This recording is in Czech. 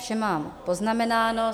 Vše mám poznamenáno.